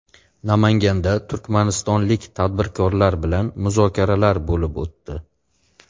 Namanganda turkmanistonlik tadbirkorlar bilan muzokaralar bo‘lib o‘tdi.